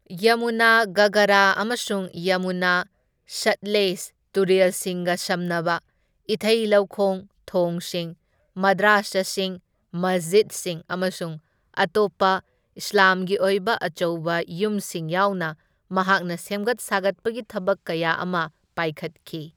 ꯌꯃꯨꯅꯥ ꯘꯥꯒꯔ ꯑꯃꯁꯨꯡ ꯌꯃꯨꯅꯥ ꯁꯠꯂꯦꯖ ꯇꯨꯔꯦꯜꯁꯤꯡꯒ ꯁꯝꯅꯕ ꯏꯊꯩ ꯂꯧꯈꯣꯡ, ꯊꯣꯡꯁꯤꯡ, ꯃꯗ꯭ꯔꯥꯁꯥꯁꯤꯡ, ꯃꯁꯖꯤꯠꯁꯤꯡ ꯑꯃꯁꯨꯡ ꯑꯇꯣꯞꯄ ꯏꯁꯂꯥꯝꯒꯤ ꯑꯣꯏꯕ ꯑꯆꯧꯕ ꯌꯨꯝꯁꯤꯡ ꯌꯥꯎꯅ ꯃꯍꯥꯛꯅ ꯁꯦꯝꯒꯠ ꯁꯥꯒꯠꯄꯒꯤ ꯊꯕꯛ ꯀꯌꯥ ꯑꯃ ꯄꯥꯏꯈꯠꯈꯤ꯫